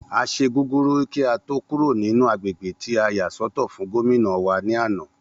A ṣe gúgúrú kí a tó kúrò nínú agbègbè tí a yà sọ́tọ̀ fún Gómìnà wa ní àná